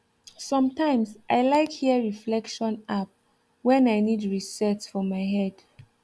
sometimes i like hear reflection app when i need reset for my head